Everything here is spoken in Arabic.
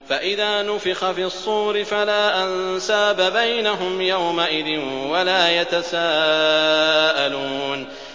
فَإِذَا نُفِخَ فِي الصُّورِ فَلَا أَنسَابَ بَيْنَهُمْ يَوْمَئِذٍ وَلَا يَتَسَاءَلُونَ